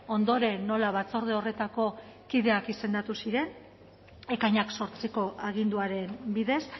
ondoren nola batzorde horretako kideak izendatu ziren ekainak zortziko aginduaren bidez